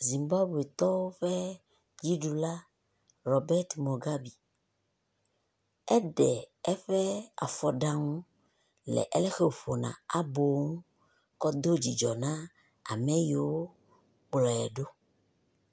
Zimbabwetɔwo ƒe dziɖula, Robert Mogabi, eɖe eƒe afɔɖaŋu le aleke wòƒona abo ŋu kɔ do dzidzɔ na ame yio kplɔe ɖo.